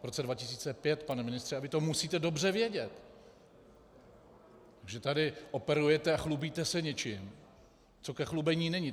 V roce 2005, pane ministře, a vy to musíte dobře vědět, že tady operujete a chlubíte se něčím, co ke chlubení není.